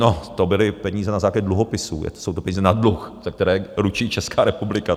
No, to byly peníze na základě dluhopisů, jsou to peníze na dluh, ze které ručí Česká republika.